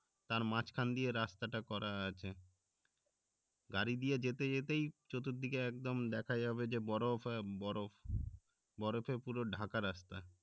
তার মাঝখান দিয়ে রাস্তা টা করা আছে গাড়ি দিয়ে যেতে যেতেই চতুর দিকে একদম দেখা যাবে যে বরফ আর বরফ বরফে পুরো ঢাকা রাস্তা